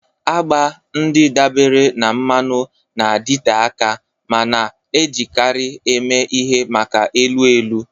Agba ndị dabeere na mmanụ na-adịte aka ma na-ejikarị eme ihe maka elu elu.